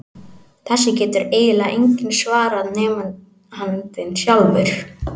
Þessu getur eiginlega enginn svarað nema andinn sjálfur.